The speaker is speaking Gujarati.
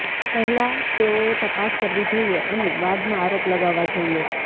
પહેલાં તેઓએ તપાસ કરવી જોઈએ અને બાદમાં આરોપ લગાવવા જોઈએ